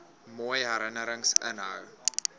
mooi herinnerings inhou